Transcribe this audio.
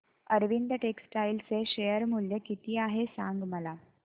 Arvind textile चे share मूल्य किती आहे मला सांगा